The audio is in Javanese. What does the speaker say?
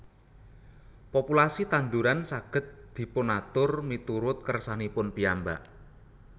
Populasi tanduran saged dipunatur miturut kersanipun piyambak